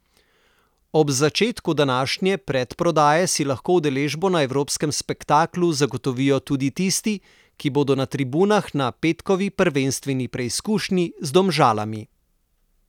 Ob začetku današnje predprodaje si lahko udeležbo na evropskem spektaklu zagotovijo tudi tisti, ki bodo na tribunah na petkovi prvenstveni preizkušnji z Domžalami.